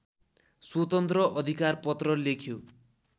स्वतन्त्र अधिकारपत्र लेख्यो